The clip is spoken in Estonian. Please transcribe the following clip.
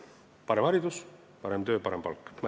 Parem haridus, parem töö ja parem palk!